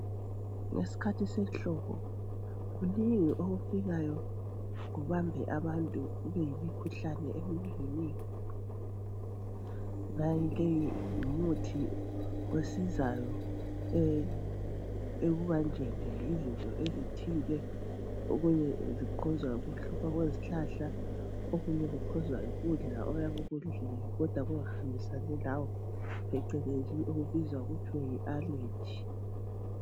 ngesikhathi sehlobo kunengi okufikayo kubambe abantu kube yimkhuhlane eminenginengi lowu ngumuthi osizayo ekubanjweni yizinto ezithile okunye ku khozwa yikuhluma kwezihlahla oknye ku khozwa yi kudla okuyabe ukudlile kodwa kungahambisani lawe eceleni okubizwa kuthiwe allegy